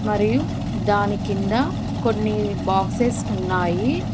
మరియు దాని కింద కొన్ని బాక్సెస్ ఉన్నాయి.